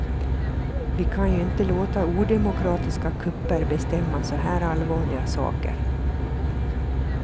Vi kan ju inte låta odemokratiska kupper bestämma så här allvarliga saker.